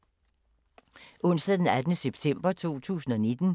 Onsdag d. 18. september 2019